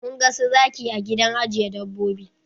Mun ga su zaki a gidan ajiye dabbobi.